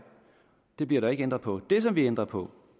det bliver der ikke ændret på det som vi ændrer på